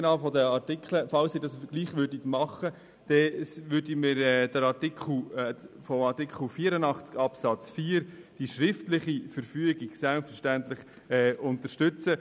Falls der Rat den Artikel dennoch annimmt, würden wir die schriftliche Verfügung gemäss Artikel 84 Absatz 4 selbstverständlich unterstützen.